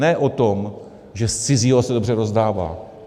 Ne o tom, že z cizího se dobře rozdává.